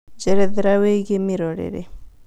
njerethera wĩigie mĩrorere